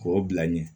K'o bila ɲɛ